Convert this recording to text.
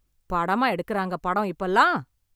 படமா எடுக்குறாங்க படம் இப்பமெல்லாம்?